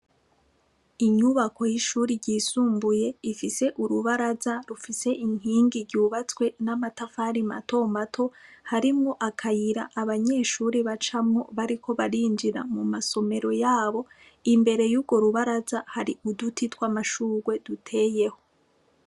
Inyubako y'ishuri ryisumbuye ifise urubaraza rufise inkingi ryubatswe n'amatafari mato mato harimwo akayira abanyeshuri bacamwo bariko barinjira mu masomero yabo imbere y'urwo rubaraza hari uduti tw'amashurwe duteyeho.